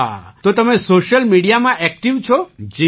હા તો તમે સૉશિયલ મિડિયામાં ઍક્ટિવ છો